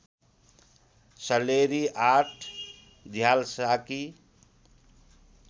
Salleri ८ झ्याल्साकी